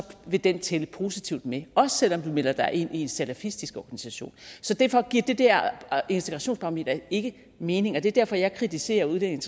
vil den tælle positivt med også selv om du melder dig ind i en salafistisk organisation derfor giver det der integrationsbarometer ikke mening og det er derfor jeg kritiserer udlændinge